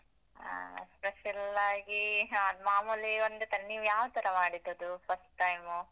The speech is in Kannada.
ಆ special ಆಗೀ ಯಾವ್ದ್ ಮಾಮೂಲಿ ಒಂದೇ ತರ, ನೀವ್ ಯಾವ್ ತರ ಮಾಡಿದ್ದ್ ಅದು first time ಉ?